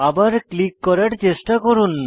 আবার ক্লিক করার চেষ্টা করুন